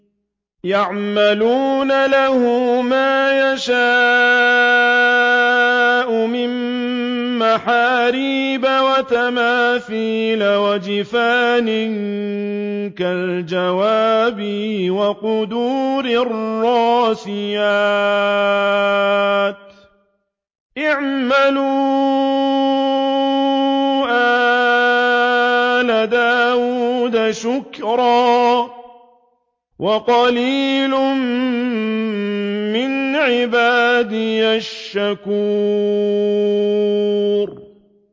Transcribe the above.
يَعْمَلُونَ لَهُ مَا يَشَاءُ مِن مَّحَارِيبَ وَتَمَاثِيلَ وَجِفَانٍ كَالْجَوَابِ وَقُدُورٍ رَّاسِيَاتٍ ۚ اعْمَلُوا آلَ دَاوُودَ شُكْرًا ۚ وَقَلِيلٌ مِّنْ عِبَادِيَ الشَّكُورُ